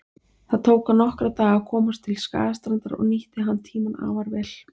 Það tók hann nokkra daga að komast til Skagastrandar og nýtti hann tímann afar vel.